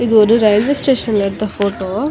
இது ஒரு ரயில்வே ஸ்டேஷன்ல எடுத்த ஃபோட்டோ .